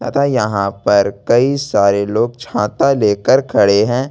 यहां पर कई सारे लोग छाता लेकर खड़े हैं।